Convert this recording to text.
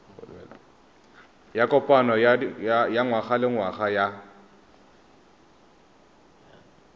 ya kopano ya ngwagalengwaga ya